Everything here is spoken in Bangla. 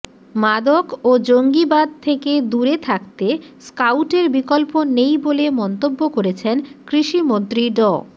মাদক ও জঙ্গিবাদ থেকে দূরে থাকতে স্কাউটের বিকল্প নেই বলে মন্তব্য করেছেন কৃষিমন্ত্রী ড